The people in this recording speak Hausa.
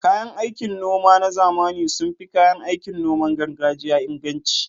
Kayan aikin noma na zamani sun fi kayan aikin noman gargajiya inganci